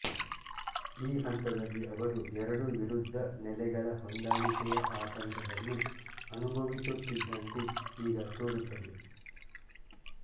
ಈ ಹಂತದಲ್ಲಿ ಅವರು ಎರಡು ವಿರುದ್ಧ ನೆಲೆಗಳ ಹೊಂದಾಣಿಕೆಯ ಆತಂಕವನ್ನು ಅನುಭವಿಸುತ್ತಿದ್ದಂತೆ ಈಗ ತೋರುತ್ತದೆ